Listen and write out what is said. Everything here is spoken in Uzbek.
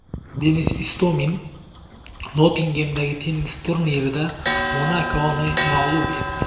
Denis Istomin Nottingemdagi tennis turnirida Monakoni mag‘lub etdi.